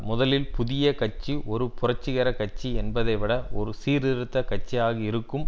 முதலில் புதிய கட்சி ஒரு புரட்சிகர கட்சி என்பதைவிட ஒரு சீர்திருத்த கட்சியாக இருக்கும்